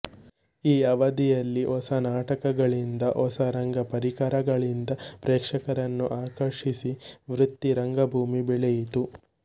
ಈ ಅವಧಿಯಲ್ಲಿ ಹೊಸ ನಾಟಕಗಳಿಂದ ಹೊಸ ರಂಗ ಪರಿಕರಗಳಿಂದ ಪ್ರೇಕ್ಷಕರನ್ನು ಆಕರ್ಷಿಸಿ ವೃತ್ತಿ ರಂಗಭೂಮಿ ಬೆಳೆಯಿತು